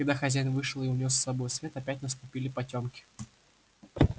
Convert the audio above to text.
когда хозяин вышел и унёс с собою свет опять наступили потёмки